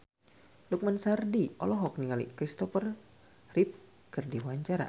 Lukman Sardi olohok ningali Christopher Reeve keur diwawancara